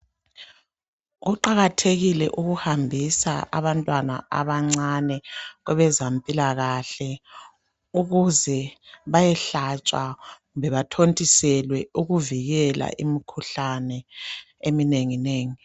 kuqakathekile ukuhambisa abantwana abancane kwabezempilakahle ukuze bayehlatshwa kumbe bathontiselwe ukuvikela imikhuhlane eminenginengi